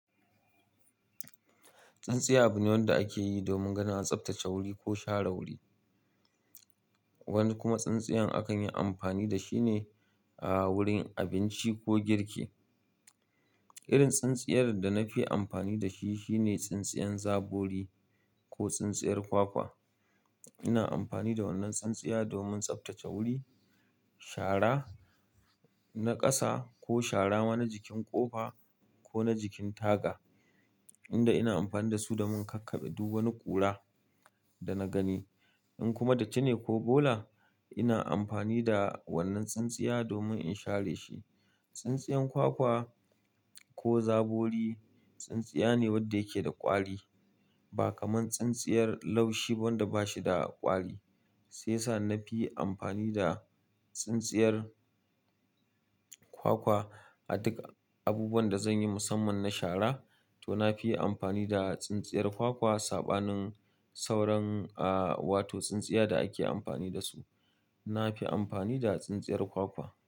Tsintsiya abu ne wanda akeyi domin ganin an tsaftace wuri ko share wuri. Wani kuma tsintsiyan akan yi amfani da shi ne a wurin abinci ko girki. Irin tsinstiyar da nafi amfani da shi, shine tsintsiyar zabori ko tsintsiyar kwakwa. Ina amfani da wannan taintsiya domin tsaftace wuri, shara na ƙasa ko shara wani jikin ƙofa ko na jikin taga, inda ina amfani da su domin in kakkaɓe duk wani ƙura da na gani. In kuma datti ne ko bola, ina amfani da wannan tsintsiya domin in share shi. Tsintsiyan kwakwa ko zabori, tsintsiya ne wadda yake da ƙwari, ba kamar tsintsiyar laushi ba wanda ba shi da ƙwari. Sai sa na fi amfani da tsintsiyar kwakwa a duk abubuwan da zan yi musamman na shara, to na fi amfani da tsintsiyar kwakwa. Saɓanin sauran, aa, wato tsintsiya da ake amfani da su, na fi amfani da tsintsiyar kwakwa.